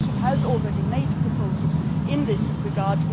The Commission has already made proposals in this regard.